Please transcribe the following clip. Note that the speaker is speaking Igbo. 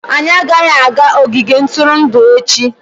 anyị agaghị aga ogige ntụrụndụ echi!